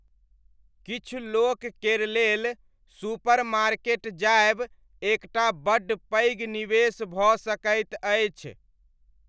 किछु लोक केर लेल सुपरमार्केट जायब एक टा बड्ड पैघ निवेश भऽ सकैत अछि।